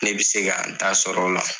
Ne bi se ka n ta sɔrɔ o la.